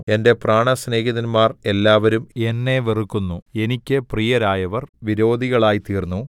എന്റെ പ്രാണസ്നേഹിതന്മാർ എല്ലാവരും എന്നെ വെറുക്കുന്നു എനിക്ക് പ്രിയരായവർ വിരോധികളായിത്തീർന്നു